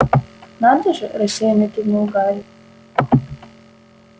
надо же рассеянно кивнул гарри